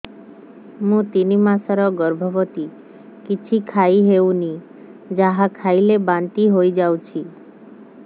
ମୁଁ ତିନି ମାସର ଗର୍ଭବତୀ କିଛି ଖାଇ ହେଉନି ଯାହା ଖାଇଲେ ବାନ୍ତି ହୋଇଯାଉଛି